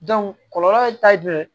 kɔlɔlɔ ye taa joli ye